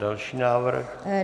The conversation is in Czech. Další návrh.